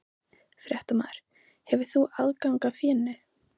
Fréttamaður: Hefur þú aðgang að fénu?